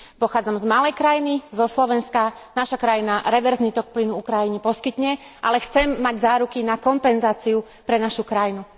Pochádzam z malej krajiny, zo Slovenska, naša krajina reverzný tok plynu Ukrajine poskytne, ale chcem mať záruky na kompenzáciu pre našu krajinu.